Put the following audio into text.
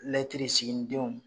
siginidenw.